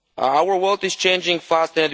Our world is changing fast.